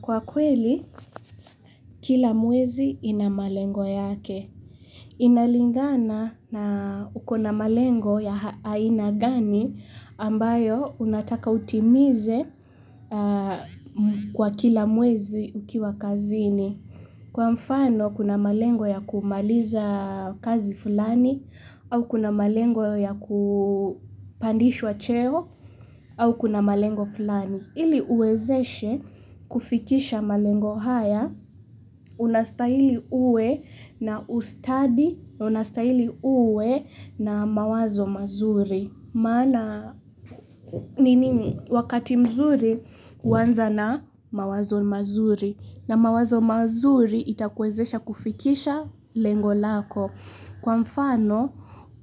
Kwa kweli, kila mwezi ina malengo yake. Inalingana na ukona malengo ya ha aina gani ambayo unataka utimize kwa kila mwezi ukiwa kazini. Kwa mfano, kuna malengo ya kumaliza kazi fulani, au kuna malengo ya kupandishwa cheo, au kuna malengo fulani. Ili uwezeshe kufikisha malengo haya, unastahili uwe na ustadi, unastahili uwe na mawazo mazuri. Maana, mimi wakati mzuri, huanza na mawazo mazuri. Na mawazo mazuri itakuwezesha kufikisha lengo lako. Kwa mfano,